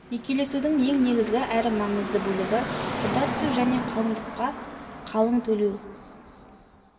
некелесудің ең негізгі әрі маңызды бөлігі құда түсу және қалыңдыққа қалың төлеу